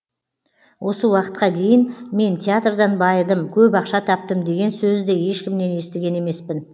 осы уақытқа дейін мен театрдан байыдым көп ақша таптым деген сөзді ешкімнен естіген емеспін